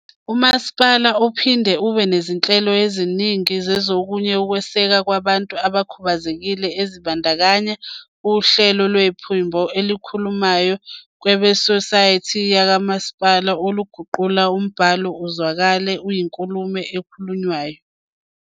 Umasipala uphinde ube nezinhlelo eziningi zokunye ukwesekwa kwabantu abakhubazekile ezibandakanya uhlelo lwephimbo elikhulumayo kuwebhusayithi yakwamasipala oluguqula umbhalo uzwakale uyinkulumo ekhulunywayo.